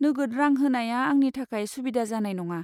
नोगोद रां होनाया आंनि थाखाय सुबिदा जानाय नङा।